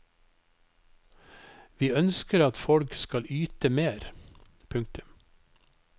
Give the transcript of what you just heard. Vi ønsker at folk skal yte mer. punktum